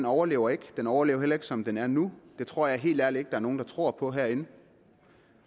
overlever ikke den overlever heller ikke som den er nu det tror jeg helt ærligt ikke er nogen der tror på herinde